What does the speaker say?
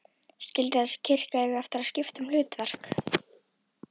Skyldi þessi kirkja eiga eftir að skipta um hlutverk?